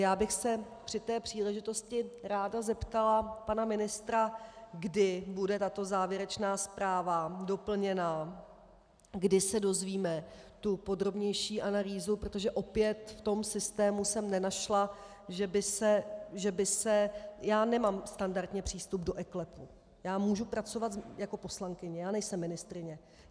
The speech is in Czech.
Já bych se při té příležitosti ráda zeptala pana ministra, kdy bude tato závěrečná zpráva doplněna, kdy se dozvíme tu podrobnější analýzu, protože opět v tom systému jsem nenašla, že by se - já nemám standardně přístup do eKLEPu, já mohu pracovat jako poslankyně, já nejsem ministryně.